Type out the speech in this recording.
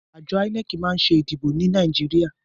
Àjo INEC ma n sé ètò ìdìbò ni Naijiria